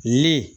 Ni